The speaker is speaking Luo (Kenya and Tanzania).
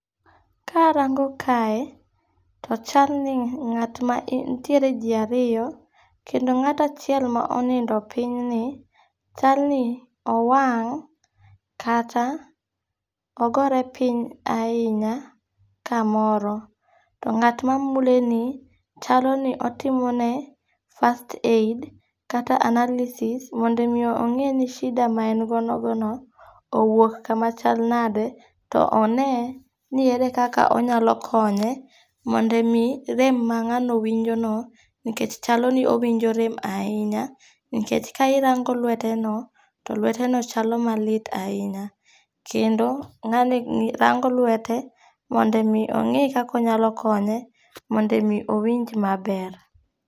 Karango kae, to chalni ngat nitiere ji ariyo, kendo nga't achiel ma onindi pinyni, chalni owang' kata ogore piny ahinya kamoro to nga't ma muleni chalo ni otimone first aid kata analysis mondo mi onge' ni shida ma en godono owuok kama chal nade mondo one ni ere kaka onyalo konye mondo mi rem ma nga'no winjono nikech chalo ni owinjo rem ahinya, nikech ka irango lweteno to lweteno chalo malit ahinya, kendo nga'ni rango lwete mondo mi ongi' kaka onyalo konye mondo mi owinj maber.